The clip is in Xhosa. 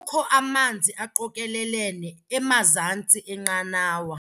Kukho amanzi aqokelelene emazantsi enqanawa.